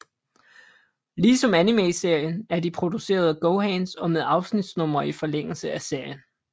Ligesom animeserien er de produceret af GoHands og med afsnitsnumre i forlængelse af serien